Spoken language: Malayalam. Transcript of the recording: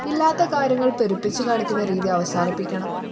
ഇല്ലാത്ത കാര്യങ്ങൾ പെരുപ്പിച്ച് കാണിക്കുന്ന രീതി അവസാനിപ്പിക്കണം